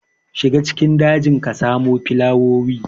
Shiga cikin dajin ka samo filawoyi.